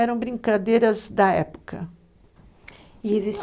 Eram brincadeiras da época. E